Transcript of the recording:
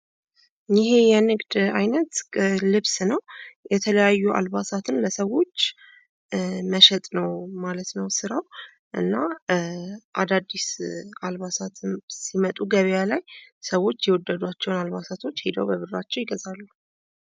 ይህ የንግድ አይነት ልብስ ነዉ። የተለያዩ አልባሳትን ለሰዎች መሸጥ ነዉ ማለት ነዉ ስራዉ። እና አዳዲስ አላባሶት ሲመጡ ገበያ ላይ ሰዎች የወደዷቸዉን አልባሳት ሄደዉ በብራቸዉ ይገዛሉ።